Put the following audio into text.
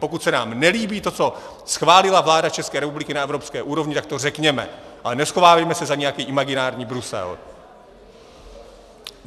Pokud se nám nelíbí to, co schválila vláda České republiky na evropské úrovni, tak to řekněme, ale neschovávejme se za nějaký imaginární Brusel.